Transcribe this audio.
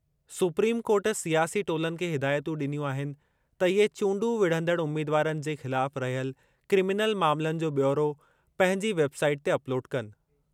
Supreme court सियासी टोलनि खे हिदायतूं ॾिनियूं आहिनि त इहे चूंडूं विढ़ंदड़ उमीदवारनि जे ख़िलाफ़ रहियल क्रिमिनल मामलनि जो ब्यौरो पंहिंजी वेबसाइट ते अपलोड कनि।